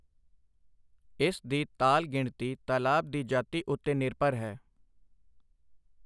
ਇਸ ਦੀ ਤਾਲ ਗਿਣਤੀ ਤਾਲਾਬ ਦੀ ਜਾਤੀ ਉੱਤੇ ਨਿਰਭਰ ਹੈ।